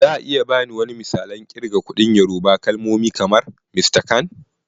Za a iya ba ni wani misalan kirga kuɗin Yorùbá kalmomi kamar "Mr kan"?